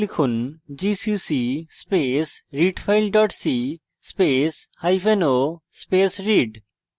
gcc space readfile dot c space hyphen o space read